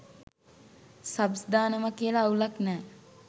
Subs දානවා කියලා අවුලක් නෑ.